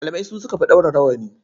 Malamai su suka fi ɗaura rawani.